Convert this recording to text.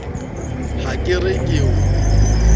ha ke re ke o